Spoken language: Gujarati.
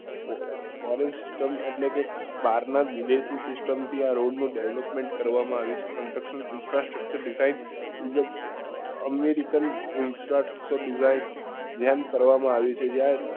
foreign system એટલે કે બાર નાં વિદેશી system થી આ રોડ નું development કરવા માં આવ્યું છે american જેમ કરવા માં આવ્યું છે જ્યાં